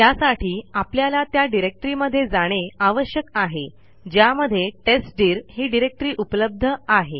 त्यासाठी आपल्याला त्या डिरेक्टरीमध्ये जाणे आवश्यक आहे ज्यामध्ये टेस्टदीर ही डिरेक्टरी उपलब्ध आहे